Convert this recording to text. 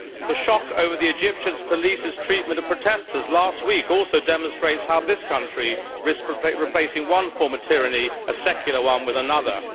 The shock over the Egyptian police's treatment of protestors last week also demonstrates how this country risks replacing one form of tyranny, a secular one, with another.